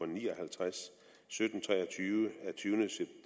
ni og halvtreds sytten tre og tyve af tyvende